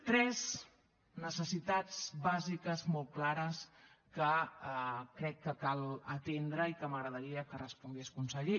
tres necessitats bàsiques molt clares que crec que cal atendre i que m’agradaria que respongués conseller